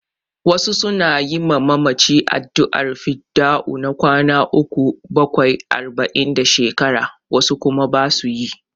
Wasu su na yi ma mamaci addu'ar fidda'u na kwana uku, bakwai, arba'in da shekara, wasu kuma ba su yi.